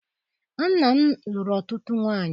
Nna m lụrụ ọtụtụ nwaanyị.